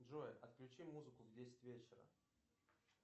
джой отключи музыку в десять вечера